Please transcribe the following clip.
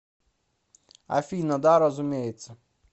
афина да разумеется